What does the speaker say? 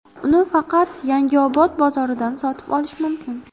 Uni faqat Yangiobod bozoridan sotib olish mumkin.